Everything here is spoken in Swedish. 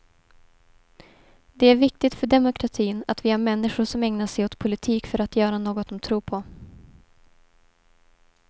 Det är viktigt för demokratin att vi har människor som ägnar sig åt politik för att göra något de tror på.